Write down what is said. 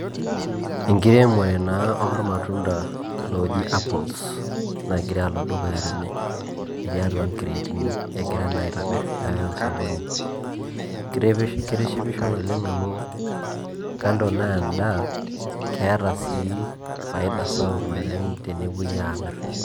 Enkiremore naa ormatunda ooji apples nagira alo dukuya tene etii atua nkireetini egirai naa aitobirr pee eyai osokoni, kitishipisho naleng' amu kando naa endaa keeta sii faida sapuk naleng' tenepuoi aamirr.